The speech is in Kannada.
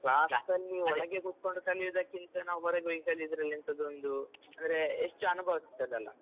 class ಅಲ್ಲಿಒಳಗೆ ಕುತ್ಕೊಂಡು ಕಲಿಯುದಕ್ಕಿಂತ ನಾವು ಹೊರಗೆ ಹೋಗಿ ಕಲಿಯುವುದ್ರಲ್ಲಿ ಎಂಥದೋ ಒಂದು ಅಂದ್ರೆ ಎಷ್ಟು ಅನುಭವ ಸಿಕ್ತದಲ್ಲ.